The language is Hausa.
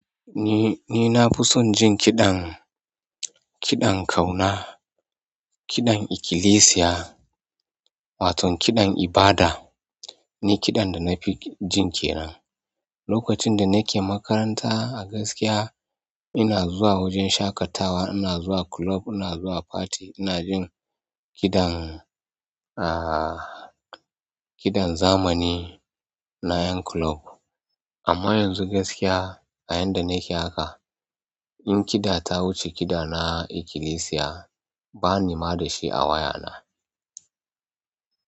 Ni ni nafison jin kiɗan ƙiɗan ƙauna, kiɗan ikilisiya, waton kiɗan ibada, ni kiɗan dana fi ji kenan. Lokacin da nake makaranta a gaskiya ina zuwa wajen shaƙatawa, ina zuwa club, ina zuwa party, ina jin kiɗan, a, kiɗan zamani na yan club. Amma yanzu gaskiya a yanda nake haka in kiɗa ta wuce kiɗa na ikilisiya bani ma da shi a wayana.